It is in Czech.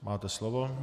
Máte slovo.